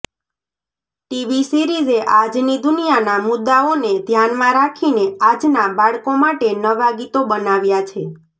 TV સિરિઝે આજની દુનિયાના મુદ્દાઓને ધ્યાનમાં રાખીને આજના બાળકો માટે નવા ગીતો બનાવ્યા છે